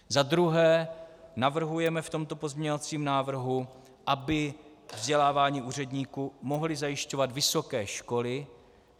Za druhé navrhujeme v tomto pozměňovacím návrhu, aby vzdělávání úředníků mohly zajišťovat vysoké školy.